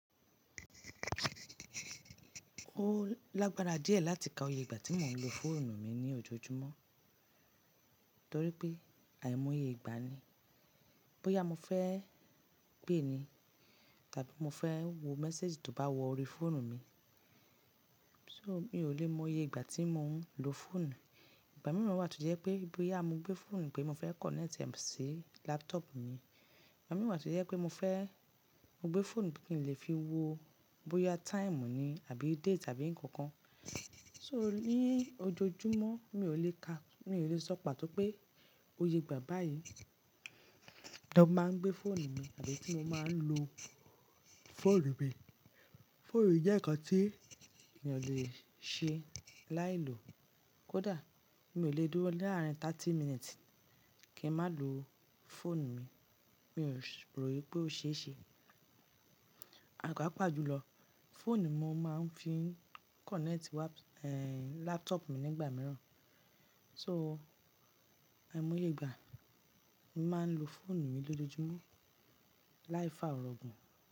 Ó lágbára díẹ̀ láti ka oye ìgbà tí mo ń lo fóònù mi ní ojoojúmọ́ torí pé àìmoye ìgbà ni. Bóyá mo fẹ́ pè é ni tàbí mo fẹ́ wo message tó bá wọ ori fóònù mi. So mi ò le mọ iye ìgbà tí mo ń lo fóònù. Ìgbà mìíràn wà tó jẹ́ pé bóyá mo gbé fóònù pé mo fẹ́ kọ̀nẹ́tì ẹ sí laptop mi. Ìgbà mìíràn wa to jẹ́ pé mo fẹ́ mo gbé fóònù bí kí n lè fi wo bóyá time ni àbí date àbí nǹkan kan. So ní ojoojúmọ́ mi ò lè ka, mi ò lè sọ pàtó pé oye ìgbà báyìí tó máa ń gbé fóònù mi àbí tí mo máa ń lo fóònù mi. Fóònù jẹ́ nǹkan tí mi ò lè ṣe láì lò. Kódà mi ò le dúró láàárín thirty minutes kí n má lo fóònù mi, mi ò rò wípé ó ṣe é ṣe. Àgbo pàpa jùlọ, fóònù ni mo máa ń fi kọ̀nẹ́tì wá, ẹ, laptop mi nígbà mìíràn. So àìmoye ìgbà, mo máa ń lo fóònù mi lójoojúmọ́ láìfàá orọ̀gùn.